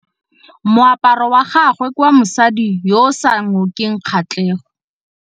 Moaparô wa gagwe ke wa mosadi yo o sa ngôkeng kgatlhegô.